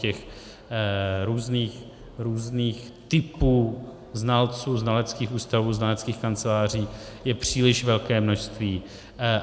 Těch různých typů znalců, znaleckých ústavů, znaleckých kanceláří je příliš velké množství.